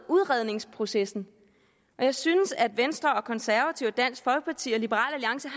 udredningsprocessen jeg synes at venstre konservative dansk folkeparti og liberal alliance